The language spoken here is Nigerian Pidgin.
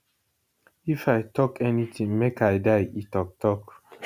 if i tok anytin make i die e tok tok